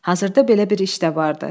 Hazırda belə bir iş də vardı.